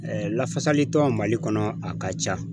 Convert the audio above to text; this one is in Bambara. lafasali tɔn Mali kɔnɔ a ka ca.